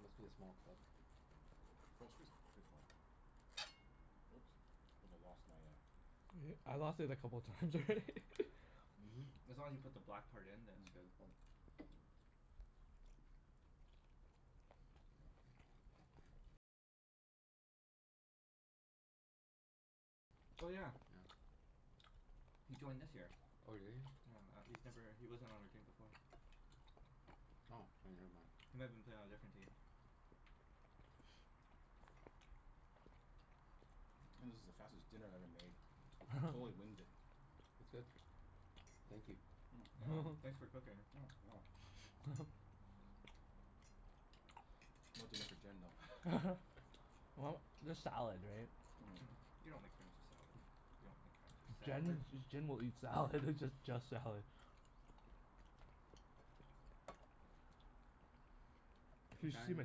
Must be a small club. False Creek's pretty small. Oops. I think I lost my uh E- I lost it a couple times already. Mhm. As long as you put the black part in then it's good. Mm. Yeah. Oh yeah. Yeah. He joined this year. Oh, did he? Yeah. Uh he's never, he wasn't on our team before. Oh, k never mind. He might have been playing on a different team. This is the fastest dinner I ever made. Totally winged it. It's good. Thank you. Mm. Yeah. You're welcome. Thanks for cooking. Mm. No dinner for Jen, though. Well, there's salad, right? Mhm. You don't make friends with salad. You don't make friends with Jen salad. J- Jen will eat salad. Just just salad. Hmm. What You should see my time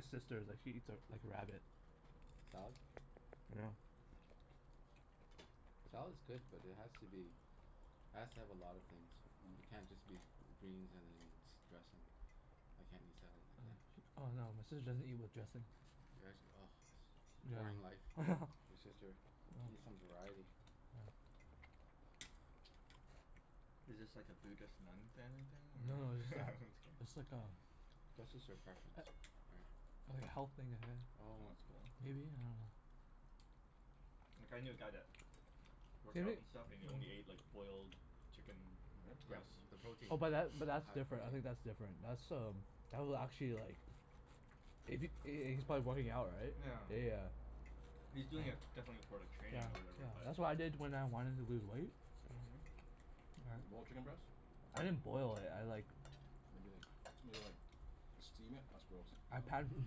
sister is like, she eats a like a rabbit. Salad? Salad's good, but it has to be has to have a lot of things. Yeah. It Mm. can't just be g- greens and then s- dressing. I can't eat salad like Oh that. yeah. Oh, no, my sister doesn't eat with dressing. Yeah, sh- ah. Boring life, Yeah. your sister. She needs some variety. Is this like a Buddhist nun family thing, Mm. Mm. No no, it's or? like Just it's like a kidding. That's just her preference, a- right? like health thing ahe- Well Oh. that's cool. maybe? I dunno. Like I knew a guy that Same worked out and stuff, and he only ate like i- boiled chicken mm Yep, breast. the Really? protein. Oh The but that but that's high different. I protein. think that's different. That's um that will actually like if he h- h- he's probably working out, right? Yeah. Yeah, yeah. He's Yeah. doing it definitely for like Yeah, training or yeah. whatever, but That's what I did when I wanted to lose weight. Mhm. Boiled chicken breast? Right. I didn't boil it, I like Maybe like made it like steam it? That's gross. I Um pan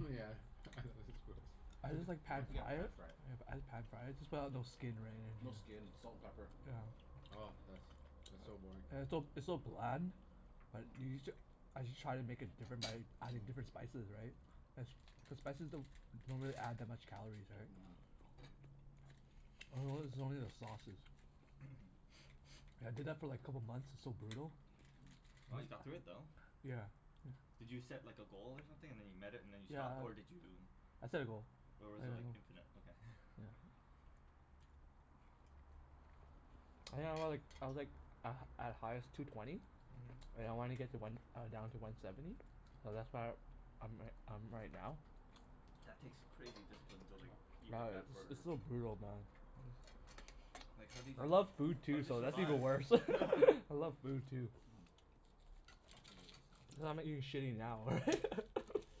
Myeah, this is gross. I just like Pa- pan yeah, fried it. pan-fry it. Yep, I just pan fried. Just put out no skin or No anything, yeah. skin. Salt and pepper. Yeah. Oh, that's that's so boring. It's so it's so bland. But you you j- as you try to make it different by adding different spices, right? The s- the spices don't don't really add that much calories, right? Mhm. I notice it's only Mhm. the sauces. I did that for like a couple months. It's so brutal. Wow, you got through it though. Yeah. Yeah. Did you set like a goal or something, and then you met it and then you Yeah stopped? I Or did you I set a goal. or Yeah, was I it ho- like, infinite? Okay. yeah. I think I was like, I was like a at highest, two twenty. And I wanna get to one uh down to one seventy. Mhm. So that's where I'm ri- I'm right now. That takes crazy discipline to like eat Yeah, like that it's s- for it's so brutal, man. Like how did I you, love food how too, did you so that's even survive? worse. I love food, too. Mm. I'm gonna move the salad Cuz I'm now. not Oh. eating shitty now, right?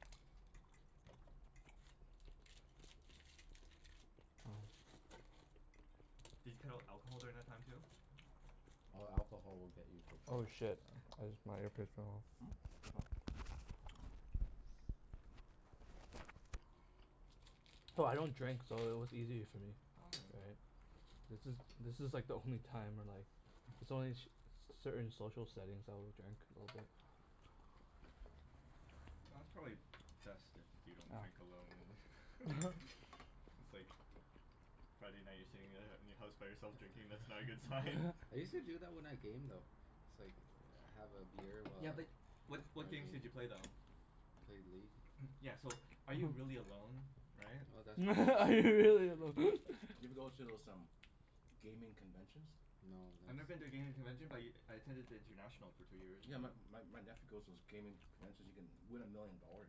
Did you cut out alcohol during that time too? Hmm? Oh, alcohol will get you for Oh sure. shit, I jus- my earpiece fell off. No, I don't drink so it was easy for me. Okay. Right? This is, this is like the only time where like It's only in sh- c- certain social settings I will drink a little bit. Well, that's probably best if you don't drink alone and It's like Yeah. Friday night you're sitting at i- in your house by yourself drinking. That's not a good sign. I use to do that when I game, though. It's like, have a beer while Yeah I but what while what I game. games did you play though? Played League. Yeah so, are you really alone? Right? Oh, that's true. That's Are you really true. alone? Have you ever go to those um gaming conventions? No, I've never been to a that's gaming convention but y- I attended the international for two years in Yeah, a my row. my my nephew goes to those gaming conventions. You can win a million dollars.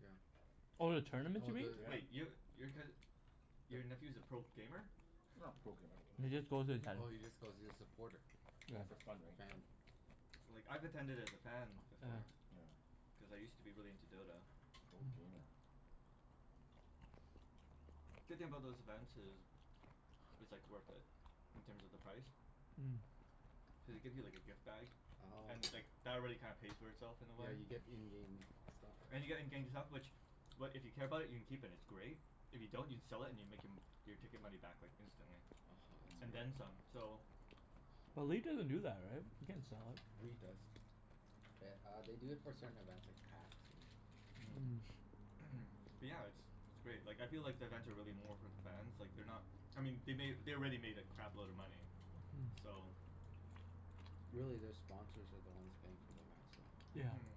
Yeah. Oh, the tournaments, Oh, you mean? the Wait, Yeah. yo- your cous- your the nephew's a pro gamer? Not a pro gamer. He just goes to attend. Oh, he just goes, he's a supporter. Yeah, for fun, right? So Fan. Like, I've attended as a fan Oh, Yeah. before. yeah. Yeah. Cuz I used to be really into Dota. Pro Mhm. gamer. Yeah. Good thing about those events is it's like Mm. worth it, in terms of the price. Cuz they give you like a gift bag, Mm. Oh, and okay. like that already kinda pays for itself in a way. Yeah, you get in-game stuff, right? And you're getting gaming stuff which, what, if you care about it you can keep, and it's great. If you don't you can sell it and you make em- your ticket money back like instantly. oh ho, that's And Mm. then great. some, so But leet doesn't do that, right? You can't sell it. League does. Th- uh, they do it for certain events, like Hacks and Mm. Mm. Mm. But Yeah. yeah, it's it's great. Like, I feel like the events are really more for the fans. Like, they're not I mean they made, they already made a crap load of money. So Really, their sponsors are the ones paying for events, so Mhm.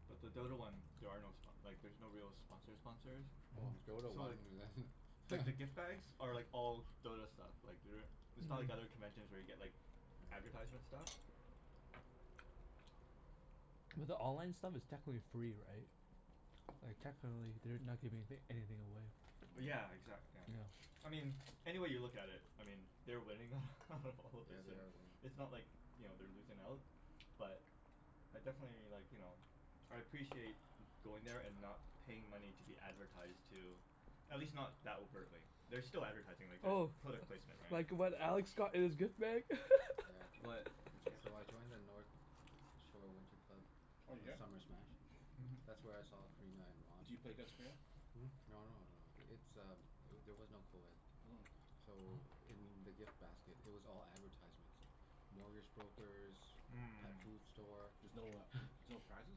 But the Dota one, there are no spo- like there's no real sponsor sponsors. Oh. Oh, Dota So one like like the gift bags are like all Dota stuff. Like they're it's not like other conventions where you get like Yeah. advertisement stuff. Mhm. But the online stuff is technically free, right? Like technically they're not giving anyth- anything away. Mm. Yeah, exac- yeah. I Yeah. mean any way you look at it I mean they're winning out of all this Yeah, they and are winning. it's not like, you know, they're losing out. But I definitely like, you know I appreciate going there and not paying money to be advertised to. At least not that overtly. There's still advertising. Like, there's Oh. product placement, right? Like what Alex got in his gift bag? Yeah. What? What did you get? So I joined the North Shore Winter Club Oh did ya? Summer Smash. That's where I saw Corina and Ron. Do you play against Corina? Hmm? No no no, it's um eh- there was no coed. Mm. So in the gift basket it was all advertisements like mortgage brokers Mhm. pet food store. There's no uh there's no prizes?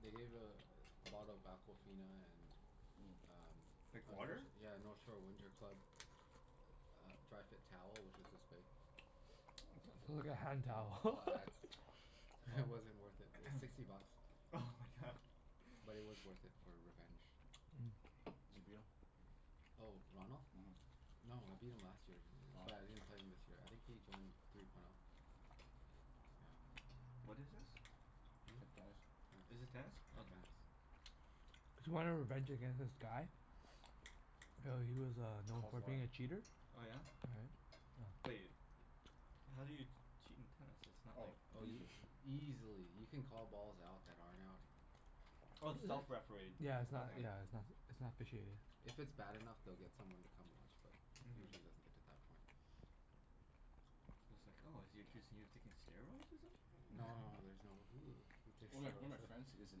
They gave a bottle of Aquafina and Mm. um Like a Nort- water? yeah, a North Shore Winter Club a uh dry fit towel, which was this big. Wow. It's like a hand towel. All ads. Wow It wasn't worth it. It was sixty bucks. oh my god. But it was worth it for revenge. Zee beetle? Oh, Ronald? Mhm. No, I beat him last year. Oh. But I didn't play him this year. I think he joined three point oh. Yeah. What is this? Hmm? T- tennis. Oh. Is Yeah, this tennis? Mm. tennis. Okay. Mm. Cuz you wanted revenge against this guy? Yeah, he was uh known Cold for war. being a cheater. Oh yeah? But Right? Yeah. y- how do you cheat in tennis? It's not Oh. like Oh y- Easily. easily. You can call balls out that aren't out. Oh, it's Yeah. self-refereed. Yeah, it's not Okay. yeah, it's not s- it's not officiated. If it's bad enough, they'll get someone to come watch but usually it doesn't Mhm. get to that point. I was like, "Oh, is he accusing you of taking steroids or No no something?" no, there's no, who who takes One of my one of steroids? my friends is an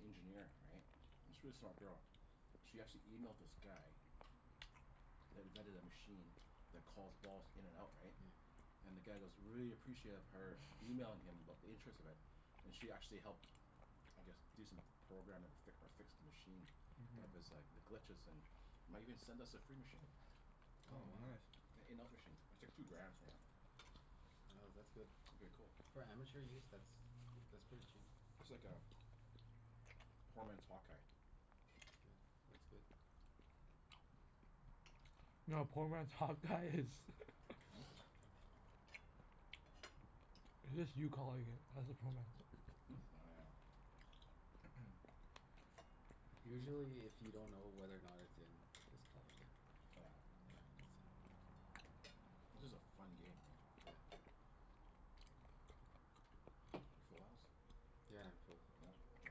engineer, right? It's really smart girl. She actually emailed this guy that invented a machine that calls balls in and out, Yeah. right? And the guy goes really appreciative of her emailing him about the interest of it. And she actually helped I guess do some programming or fic- or fix the machine. Mhm. Of his like, the glitches and might even send us a free machine. Oh, Oh wow. nice. An in-out machine. It's like two grand, something like that. Oh, that's good. It'd be a cool. For amateur use? That's g- that's pretty cheap. It's like a poor man's hawk eye. Yeah. That's good. No, a poor man's hawk-eye is Hmm? It's just you calling it. That's a poor man's Hmm? Oh yeah. Usually if you don't know whether or not it's in just call it in. Oh yeah. Yeah, that's a This is a fun game, right? Yeah. You full house? Yeah, Yeah? I'm full. K.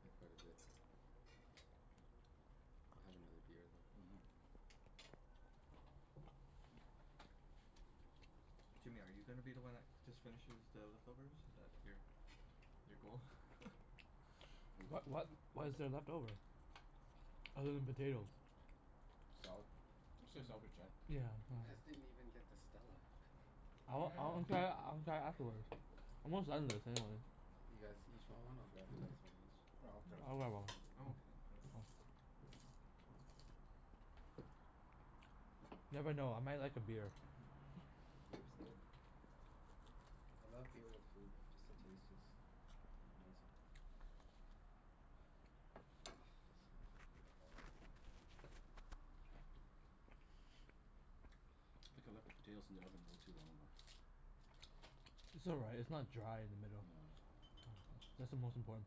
I had quite a bit. I'll have another beer though. Mhm. Jimmy, are you gonna be the one that just finishes the leftovers? Is that your your goal? What what what What is is it? there What? left over? Other than potatoes? Salad. Let's save the salad for Jen. Oh Yeah, You well Yeah. guys didn't even get to Stella. I y- want, I wanna yeah. try it, I wanna try it afterwards. I'm almost done this anyway. You guys Yeah, each want one? I'll grab you guys one each. I'll grab that I'll one. have one. I'm okay, for now. Oh. Never know. I might like a beer. Yeah, beer's good. I love beer with food. Just the taste is amazing. Oh, so I need a bottle opener. Mm. I think I left the potatoes in the oven a little too long, though. It's all right. It's not dry in the middle. No. No. That's the most important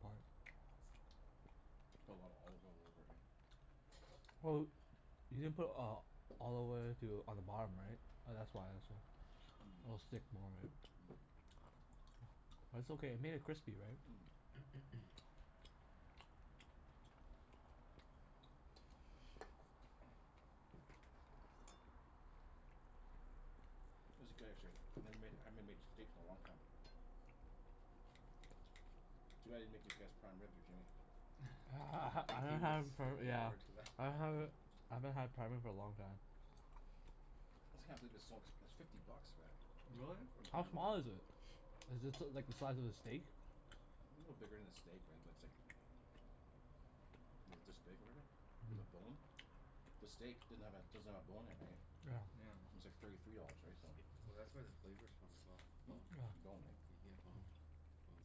part. Put a lotta olive oil over it, right? Well, you didn't put uh olive oil too on the bottom, right? Oh, that's why it's so it'll stick more, right? But it's okay. It Mm. made it crispy, right? Mm. Mm. This is good, actually. I never made, I haven't m- made steaks in a long time. Too bad I didn't make you guess prime rib or Jimmy. I ha- Yeah, I ha- I think he haven't was had for looking yeah forward to that. I haven't I haven't had prime rib for a long time. I just can't believe it's so ex- it's fifty bucks for that. Really? For How Mhm. prime small rib. is it? A Is this l- like the size of a steak? little bigger than a steak, right? But it's like Maybe it's this big, whatever. With a Mm. bone. The steak didn't have a, doesn't have a bone in it, right? Yeah. It's like thirty three dollars, right? So Well that's where the Yeah. flavor's from, as well. The Hmm? bone. The bone, right? You can get boned. Bone's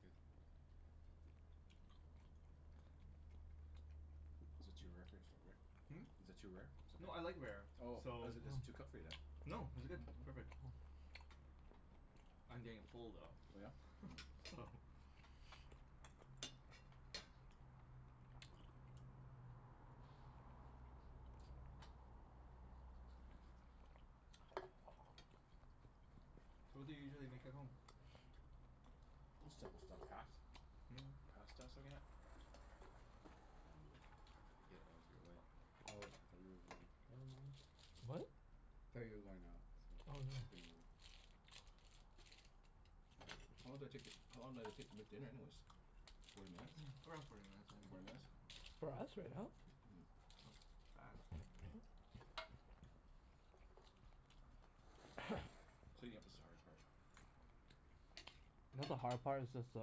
good. Is it too rare for your st- Rick? Hmm? Is it too rare? Is it No, I okay? like rare, Oh, so is it is it too Oh. cooked for you, then? No, this is good. Perfect. I'm getting full Oh yeah? though Mm. so Oh. So what do you usually make at home? Just simple stuff. Pas- Mm. Pasta s- again Mm. Here let me get out of your way. Oh, I thought you were going out. Never mind. What? Thought you were going out so Oh, I was no. gonna move. How long did it take to, how long did it take to make dinner, anyways? Forty minutes? Around forty minutes I Forty Forty think, minutes? minutes. yeah. For us right now? That was fast. Mm. Cleaning up is the hard part. Not the hard part, it's just that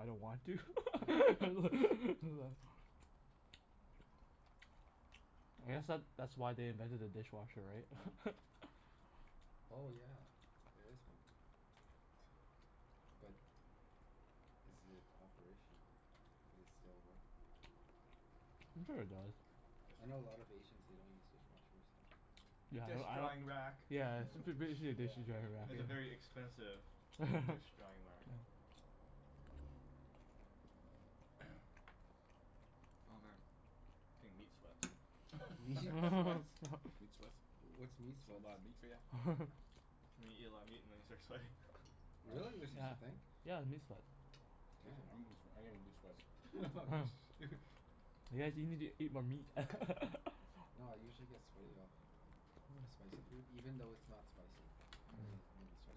I don't want to. I guess that that's why they invented a dishwasher, right? Oh yeah. There is one. But is it operational? Does it still work? Mm. I'm sure it does. I know a lot of Asians, they don't use dishwashers so Yeah, Dish I don't I drying don't rack. Yeah, Yeah, it's f- b- dish, yeah, dishes drying dish rack. drying It's a very rack. expensive dish drying whack. Yeah. Oh man, getting meat sweats. Meat sweats? Meat sweats? What's meat That's a whole sweats? lotta meat for ya? Meat, eat a lot of meat and then you start sweating. Oh, Really? There's such Yeah. a hmm. thing? Yeah, the meat sweat. Seriously? I'm Damn. gett- sw- I'm getting meat sweats. You guys you need to eat more meat. No, I usually get Mm. Mm. sweaty off spicy food. Even though it's not spicy it'll make me start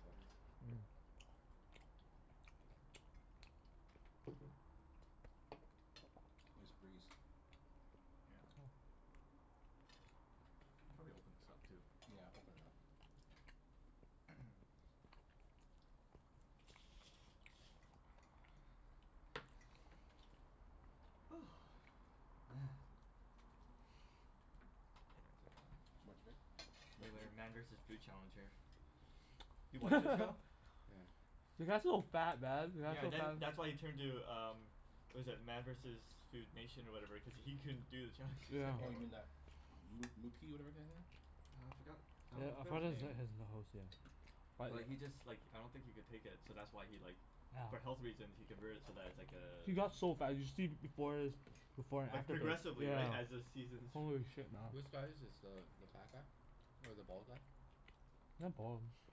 sweating. Nice breeze. Yeah. Can probably open this up, too. Yeah, open it up. Woo. Man. It's Too much vape? Too much like a regulator meat? Man versus Food Challenge here. You watch that show? Yeah. The guy's so fat, man. The guy's Yeah, so then that's why fa- he turned to um what was it? Man versus Food Nation or whatever cuz he couldn't do the challenges Yeah. Oh, you anymore. mean that moo moo key whatever kinda thing? Uh, I forgot I don- forgot his name. But he just like I don't think he could take it, so that's why he like for health reasons he convert it so that it's like Yeah. uh He got so fat. You should see b- before his before and Like after pic, progressively, right? As the yeah. seasons Holy shit, man. Which guy is this? The the fat guy? Or the bald guy? Not bald.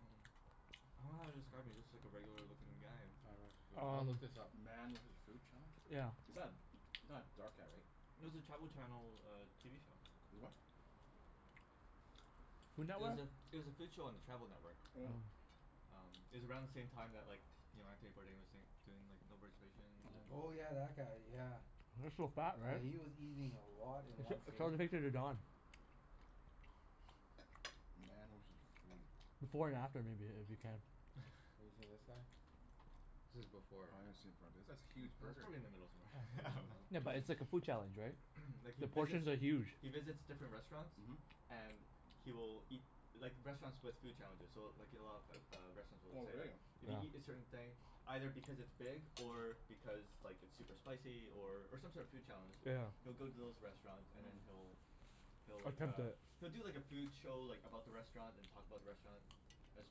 Um, I don't know how to describe him. He looks Hmm. like a regular lookin' guy. Oh right, foo- I'll Um look this up. Man with his food challenge? Yeah. Is that not a dark guy, right? No, it was a Travel Channel TV show. Is what? It was a, it was a food show on the Travel Network. Mm. Um, it was around the same time that like you know, Anthony Bourdain was saying, doing like No Reservations, and Oh yeah, Mhm. that guy. Yeah. Mm. He was so fat, right? Yeah, he was eating a lot in one Sh- sitting. show the picture to Don. Man was his food. Before and after, maybe. If you can. Have you seen this guy? This is Oh, before, I haven't seen it right? for a b- that's a Yeah, huge that's burger. probably in the middle somewhere. In the middle. Yeah, No. but it's like a food challenge, right? Like he The visits, portions are huge. he visits different restaurants. Mhm. And he will eat, like restaurants with food challenges so w- like you know of o- a lot of restaurants Oh, will say like really? if you Yeah. eat a certain thing, either because it's big or because like it's super Mhm. spicy or or some sort of food challenge he'll Yeah. go to those restaurants and then Mhm. he'll he'll like Attempt uh, it. he'll do like a food show like about the Mm. restaurant, Mm. and talk about the restaurant as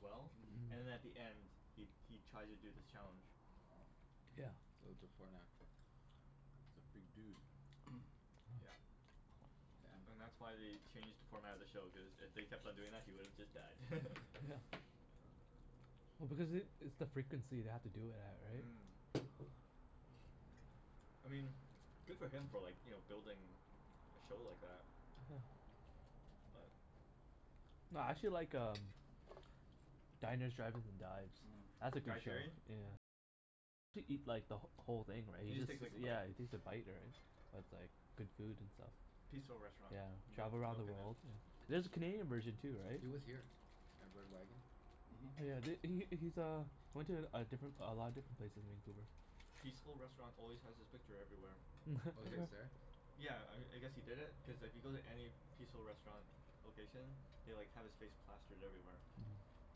well. Mhm. And at the end he he tries to do this challenge. Wow. Yeah. So, before and after. That's a big dude. Yeah. Damn. And that's why they changed the format of the show, cuz if they kept on doing that he would have just died. Oh because it, it's the frequency they have to do it at, right? Mm. I mean good for him for like, you know, building a show like that. But No, I actually like um Diners, drive-ins, and Dives. Mm. That's a Guy good show. Sheerian? Yeah, he takes a bite or, right? But it's like good food and stuff. Peaceful Restaurant. Yeah. Milk Travel around milk the in it. world Yeah. There's a Canadian version too, right? He was here at Red Wagon. Oh Mhm. yeah, th- he Yeah. he's uh he went to a different a lot of different places in Vancouver. Peaceful Restaurant always has his picture everywhere. Oh, It's he like, was there? yeah, I I guess he did it cuz if you go to any Peaceful Restaurant location they like have his face plastered everywhere. Mhm.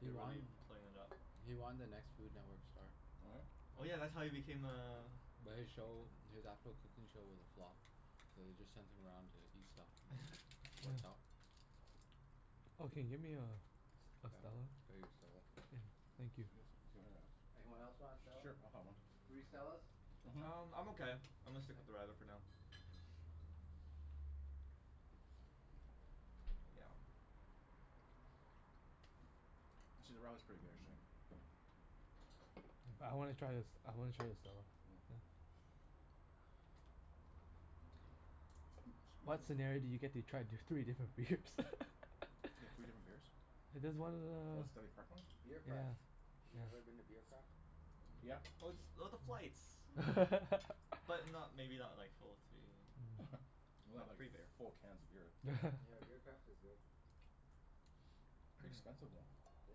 He They're won really playing it up. he won The Next Food Network Star. What? Oh yeah, that's Yeah. how he became a But his show, his actual cooking show was a flop. So they just sent him around to eat stuff and it worked Yeah. out. Yeah, Oh, I'll can you get get me a a Stella? you a Stella. Yeah, thank you. Anyone else want a S- Stella? sure, I'll have one. Three Stellas? Mhm. Um, I'm okay. I'm gonna stick Okay. with the radler for now. Yeah. Actually, the radler's pretty good actually. I wanna try this, I wanna try the Stella. Yeah. Mm. Ooh, What excuse me. scenario do you get to try d- You three different beers? get three different beers? There's one Oh, the uh Stanley Park one? Beer Mhm. Yeah, yeah. Craft. You ever been to Beer Craft? Yeah. Oh it's oh the Mm. flights. Mm. But not, maybe not like full three here. Mm. Not Not like, free beer. full cans of beer. Yeah, Beer Craft is good. Pretty expensive, though. It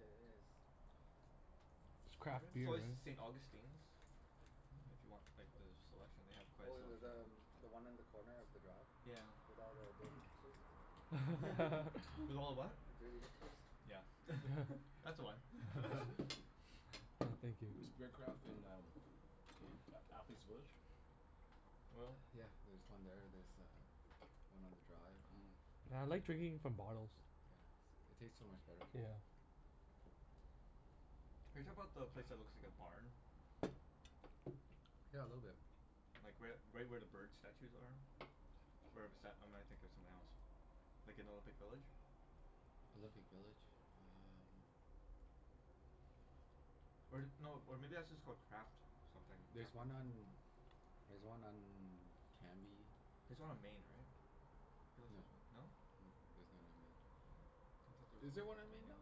is. It's craft It's beer, right? always the St. Augustine's. Mm if you want like Oop. the selection. They have quite Oh, a th- selection the too. um one on the corner of the Drive? Yeah. With all the dirty hipsters, there? With all the what? The dirty hipsters. Yeah. That's the one. I thank you. Is Beer Craft in um A- Athlete's Village? Oil? Yeah, there's one there. There's uh one on the Drive. Mhm. Yeah, I like drinking from bottles. Yeah, s- it tastes so much better. Yeah. Are you talking 'bout the place that looks like a barn? Yeah, a little bit. Like right u- right where the bird statues are? Where bes- or am I thinking of something else? Like in Olympic Village? Olympic Village? Um Or th- no, or maybe that's just called Craft something. There's Craft house one or on, there's one on Cambie. There's one on Main, right? Feel like there's No. one, no? N- I'm there's none on not Main. Oh, I thought there sure. was Is a Is there there one Craft on on Main, Don? Main.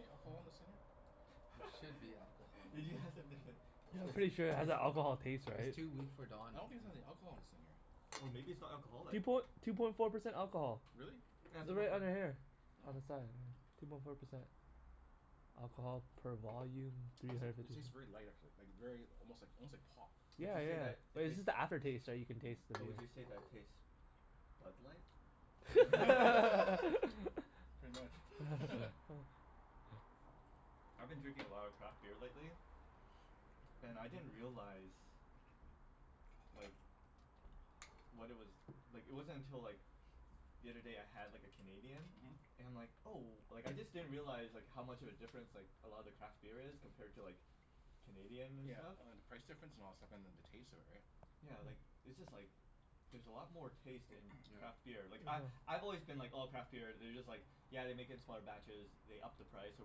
any alcohol in this thing here? There should be alcohol in Did you ask if that. there's any I'm It's pretty sure it has that alcohol taste, it's right? it's too weak for I Don. don't think there's any alcohol in this thing here. Oh, maybe it's not Two alcoholic? poin- two point four percent alcohol. Really? Yeah, two They're point right four. under here. Oh. Oh. On the side, yeah. Two point four percent. Alcohol per volume, three Those are, hundred it fifty tastes very light actually. Like very almost like almost like pop. Would Yeah, you say that yeah. But it it's tastes just the after taste, right, you can taste Mm. the but beer. would you say that tastes Bud Light? Yeah. Pretty much. I've been drinking a lot of craft beer lately. And I didn't realize like what it was, like it wasn't until like the other day I had like a Canadian Mhm. and I'm like, oh, like I just didn't realize like how much of a difference like a lot of the craft beer is compared to like Canadian and Yeah, stuff. oh and the price difference and all that stuff, and then the taste of it, right? Yeah, like it's just like there's a lot more taste in Yeah. craft beer. Like I Mhm. I've always been like oh, craft beer, they're just like yeah they make it in smaller batches, they up the price or